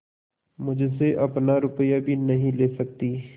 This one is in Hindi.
मुझसे अपना रुपया भी नहीं ले सकती